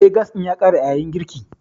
Eh, gas ɗin ya ƙare a yayin girkin.